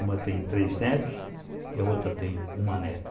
Uma tem três netos e a outra tem uma neta.